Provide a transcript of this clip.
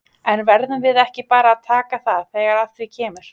En verðum við ekki bara að taka það þegar að því kemur?